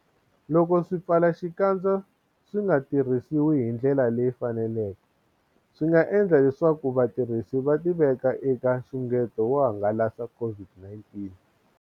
Loko swipfala-xikandza swi nga tirhisiwi hi ndlela leyi faneleke, swi nga endla leswaku vatirhisi va tiveka eka nxungeto wo hangalasa COVID-19.